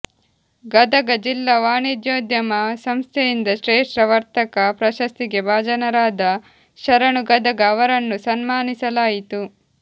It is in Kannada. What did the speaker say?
ಗದಗ ಜಿಲ್ಲಾ ವಾಣಿಜ್ಯೋದ್ಯಮ ಸಂಸ್ಥೆಯಿಂದ ಶ್ರೇಷ್ಠ ವರ್ತಕ ಪ್ರಶಸ್ತಿಗೆ ಭಾಜನರಾದ ಶರಣು ಗದಗ ಅವರನ್ನು ಸನ್ಮಾನಿಸಲಾಯಿತು